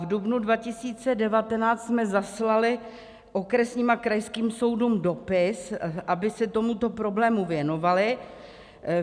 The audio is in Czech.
V dubnu 2019 jsme zaslali okresním a krajským soudům dopis, aby se tomuto problému věnovaly.